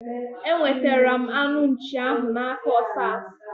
Enwetara m anụ nchii ahu na aka Osas